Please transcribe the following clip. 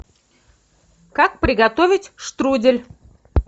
как приготовить штрудель